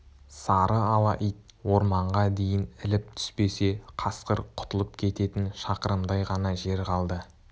сары ала ит орманға дейін іліп түспесе қасқыр құтылып кететін шақырымдай ғана жер қалды